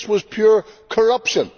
That was pure corruption.